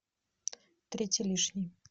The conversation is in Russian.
третий лишний